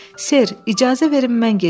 Ser, icazə verin mən gedim.